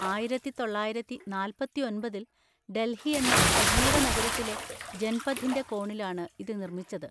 ആയിരത്തി തൊള്ളായിരത്തി നാൽപത്തി ഒൻപതിൽ ഡൽഹിയെന്ന സജീവ നഗരത്തിലെ ജൻപഥിന്‍റെ കോണിലാണ് ഇത് നിർമ്മിച്ചത്.